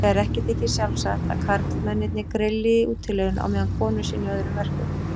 Þegar ekki þykir sjálfsagt að karlmennirnir grilli í útilegunni á meðan konur sinni öðrum verkum.